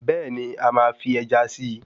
Bẹ́ẹ̀ni,a máa fi Ẹja si